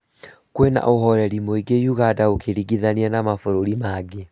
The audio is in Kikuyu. Kwĩna ũhoreri mũingĩ ũganda ũkĩringithania na mabũrũri mangĩ